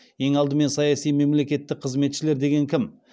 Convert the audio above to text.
ең алдымен саяси мемлекеттік қызметшілер деген кім